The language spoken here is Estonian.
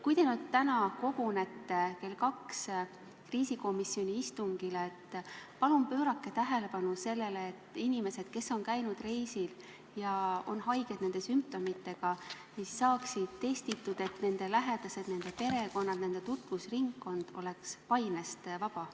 Kui te täna kell 14 kriisikomisjoni istungile kogunete, siis palun pöörake tähelepanu sellele, et inimesed, kes on käinud reisil ja on haiged, neil on sümptomid, saaksid testitud, et nende lähedased, nende perekonnad, nende tutvusringkond oleks painest vaba.